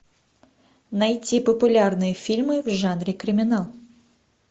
найти популярные фильмы в жанре криминал